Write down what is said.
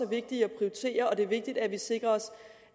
vigtige at prioritere og at det er vigtigt at vi sikrer os